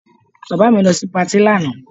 Bàbá mi lọ sí patí lánàá